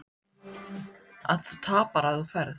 Að þú tapar ef þú ferð.